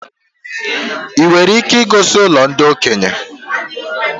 I nwere ike igosi ụlọ ndị okenye?